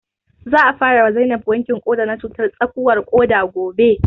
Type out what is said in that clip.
Za a fara wa Zainab wankin ƙoda na cutar tsakuwar ƙuda gobe